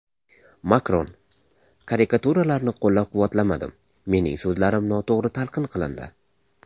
Makron: Karikaturalarni qo‘llab-quvvatlamadim, mening so‘zlarim noto‘g‘ri talqin qilindi.